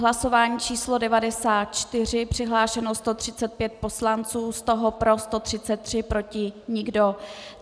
Hlasování číslo 94, přihlášeno 135 poslanců, z toho pro 133, proti nikdo.